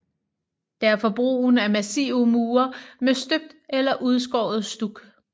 Derfor brugen af massive mure med støbt eller udskåret stuk